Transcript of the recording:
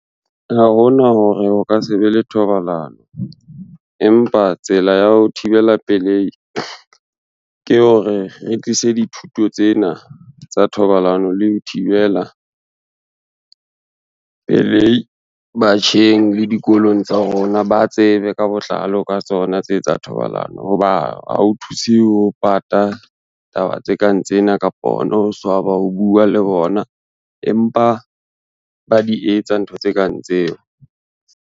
Ha ho na hore ho ka se be le thobalano, empa tsela ya ho thibela pelehi ke hore re tlise dithuto tsena tsa thobalano le ho thibela pelehi batjheng le dikolong tsa rona ba tsebe ka botlalo ka tsona tse tsa thobalano, ho ba ha ho thuse ho pata taba tse kang tsena kapa hona ho swaba ho bua le bona, empa ba di etsa ntho tse kang tseo.